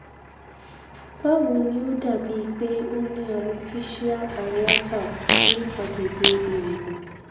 bawo nì ó dà bíi pé o ní alopecia areata ní àgbègbè ìrungbon